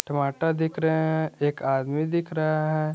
टमाटर दिख रहे हैं एक आदमी दिख रहा है।